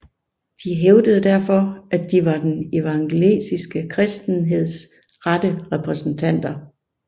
De hævdede derfor at de var den evangeliske kristenheds rette repræsentanter